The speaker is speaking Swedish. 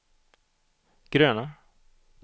gröna